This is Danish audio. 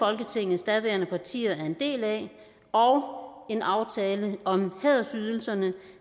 folketingets daværende partier var en del af og en aftale om hædersydelserne